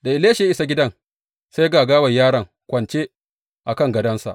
Da Elisha ya isa gidan, sai ga gawar yaron kwance a kan gadonsa.